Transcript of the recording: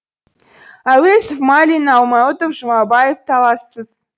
әуезов майлин аймауытов жұмабаев талассыз